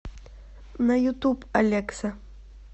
на ютуб алекса